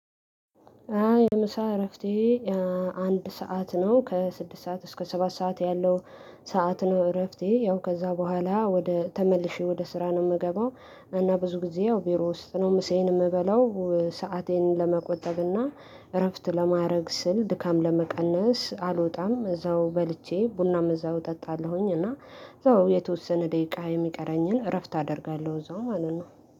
አይ የምሳ እረፍቴ። አንድ ሰዓት ነው ከስድስት ሰዓት እስከ ሰባት ሰዓት ያለው። ሰዓት ነው እረፍቴ ያው ከዛ በኋላ ወደ ተመልሼ ወደ ስራ ነው የምገባው። እና ብዙ ጊዜ ያው ቢሮ ውስጥ ነው ምሴዬን የምበለው ሰአቴን ለመቆጠብና እረፍት ለማድረግ ስል ድካም ለመቀነስ አልወጣም እዛው በልቼ ቡናም እዛው እጠጣለሁኝ እና እዛው የተወሰነ ደቂቃ የሚቀረኝን እረፍት አደርጋለሁ። እዛው ማለት ነው።